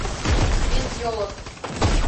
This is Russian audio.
месть елок